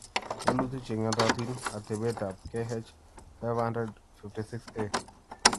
walutik che ng'atootin: atebeetap KH500-56A